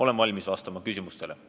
Olen valmis vastama küsimustele.